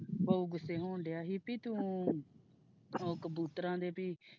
ਬਹੁ ਗੁੱਸੇ ਹੁਣ ਡਯਾ ਤੋਂ ਉਹ ਕਬੂਤਰਾਂ ਦੇ ਵੀ।